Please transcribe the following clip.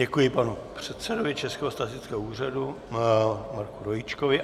Děkuji panu předsedovi Českého statistického úřadu Marku Rojíčkovi.